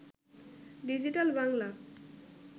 digital Bangla